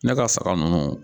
Ne ka saga ninnu